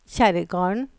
Kjerrgarden